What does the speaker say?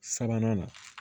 Sabanan na